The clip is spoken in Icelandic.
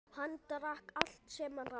Hann drakk allt sem rann.